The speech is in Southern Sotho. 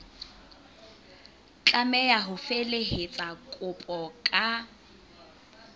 tlameha ho felehetsa kopo ka